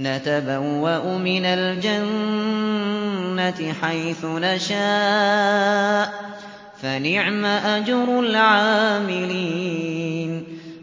نَتَبَوَّأُ مِنَ الْجَنَّةِ حَيْثُ نَشَاءُ ۖ فَنِعْمَ أَجْرُ الْعَامِلِينَ